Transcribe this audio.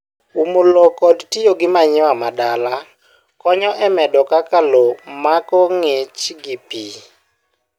Umo lowo kod tiyo gi manure madala konyo e medo kaka lowo mako ngich gi pii.